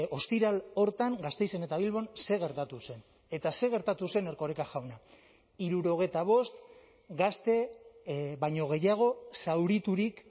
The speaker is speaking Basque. ostiral horretan gasteizen eta bilbon zer gertatu zen eta zer gertatu zen erkoreka jauna hirurogeita bost gazte baino gehiago zauriturik